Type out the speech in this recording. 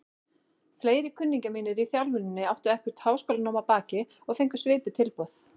Fleiri kunningjar mínir í þjálfuninni áttu eitthvert háskólanám að baki og fengu svipuð tilboð.